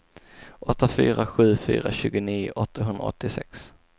åtta fyra sju fyra tjugonio åttahundraåttiosex